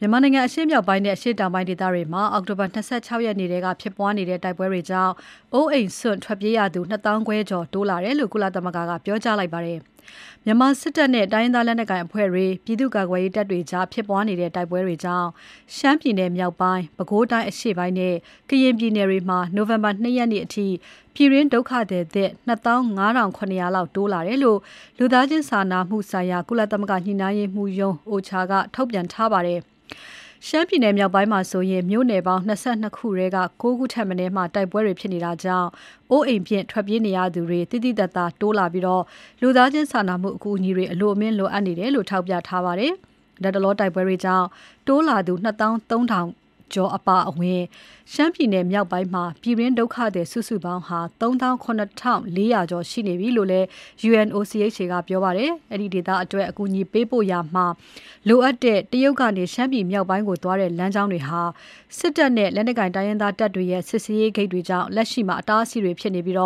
မြန်မာနိုင်ငံအရှေ့မြောက်ပိုင်းနဲ့ အရှေ့တောင်ပိုင်းဒေသတွေမှာ အောက်တိုဘာ ၂၆ ရက်နေ့ထဲက ဖြစ်ပွားနေတဲ့ တိုက်ပွဲတွေကြောင့် အိုးအိမ်စွန်ထွက်ပြေးရသူ ၂၅၀၀၀ ကျော် တိုးလာတယ်လို့ ကုလသမဂ္ဂက ပြောကြားလိုက်ပါတယ်။ မြန်မာစစ်တပ်နဲ့ တိုင်းရင်းသားလက်နက်ကိုင်အဖွဲ့တွေ၊ ပြည်သူ့ကာကွယ်ရေးတပ်တွေကြား ဖြစ်ပွားနေတဲ့ တိုက်ပွဲတွေကြောင့် ရှမ်းပြည်နယ်မြောက်ပိုင်း၊ ပဲခူးတိုင်းအရှေ့ပိုင်းနဲ့ ကရင်ပြည်နယ်တွေမှာ နိုဝင်ဘာ ၂ ရက်နေ့အထိ ပြည်တွင်းဒုက္ခသည်သစ် ၂၅၇၀၀ လောက် တိုးလာတယ်လို့ လူသားချင်းစာနာမှုဆိုင်ရာ ကုလသမဂ္ဂညှိနှိုင်းရေးမှုးရုံး UNOCHA က နေ့စွဲနဲ့ ထုတ်ပြန်ထားပါတယ်။ ရှမ်းပြည်မြောက်ပိုင်းမှာဆိုရင် မြို့နယ်ပေါင်း ၂၂ ခုထဲက ၉ ခုထက်မနည်းမှာ တိုက်ပွဲတွေဖြစ်နေတာကြောင့် အိုးအိမ်ပစ် ထွက်ပြေးနေရသူတွေ သိသိသာသာ တိုးလာပြီး လူသားချင်းစာနာမှုအကူအညီတွေ အလွန်လိုအပ်နေတယ်လို့ ထောက်ပြထားပါတယ်။ လတ်တလောတိုက်ပွဲတွေကြောင့် တိုးလာသူ ၂၃၀၀၀ ကျော် အပါအဝင် ရှမ်းပြည်မြောက်ပိုင်းမှာ ပြည်တွင်းဒုက္ခသည် စုစုပေါင်း ၃၇၄၀၀ ကျော် ရှိနေပြီလို့ UNOCHA ကပြောပါတယ်။ အဲဒီဒေသအတွက် အကူအညီပေးပို့ရာမှာ လိုအပ်တဲ့ တရုတ်ကနေ ရှမ်းပြည်မြောက်ပိုင်းကို သွားတဲ့ လမ်းကြောင်းတွေဟာ စစ်တပ်နဲ့ လက်နက်ကိုင်တိုင်းရင်းသားတပ်တွေရဲ့ စစ်ဆေးရေးဂိတ်တွေကြောင့် လက်ရှိမှာ အတားအဆီးတွေဖြစ်နေပြီး